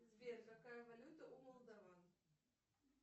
сбер какая валюта у молдован